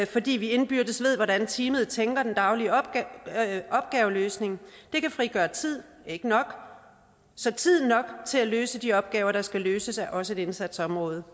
fordi de indbyrdes ved hvordan teamet tænker den daglige opgaveløsning kan frigøre tid ikke nok så tid nok til at løse de opgaver der skal løses er også et indsatsområde